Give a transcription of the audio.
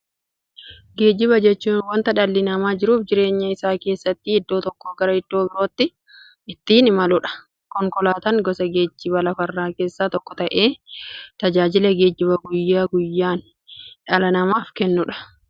Geejjiba jechuun wanta dhalli namaa jiruuf jireenya isaa keessatti iddoo tokkoo gara iddoo birootti ittiin imaluudha. Konkolaatan gosa geejjibaa lafarraa keessaa tokko ta'ee, tajaajila geejjibaa guyyaa guyyaan dhala namaaf kenna.